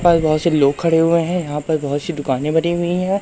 बहोत से लोग खड़े हुए हैं यहां पास बहोत सी दुकानें बनी हुई हैं।